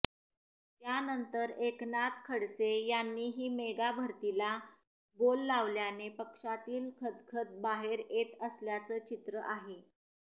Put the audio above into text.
त्यांनतर एकनाथ खडसे यांनीही मेगा भरतीला बोल लावल्याने पक्षातील खदखद बाहेर येत असल्याचं चित्र आहे